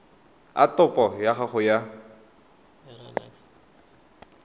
a topo ya gago ya